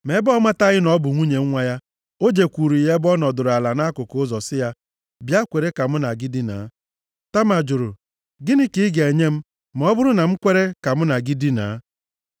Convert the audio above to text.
Ma ebe ọ mataghị na ọ bụ nwunye nwa ya, o jekwuru ya ebe ọ nọdụrụ ala nʼakụkụ ụzọ sị ya, “Bịa, kwere ka mụ na gị dinaa.” Tama jụrụ, “Gịnị ka ị ga-enye m ma ọ bụrụ na m kwere ka mụ na gị dinaa?”